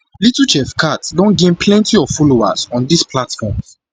little chef khat don gain don gain plenty of followers on dis platforms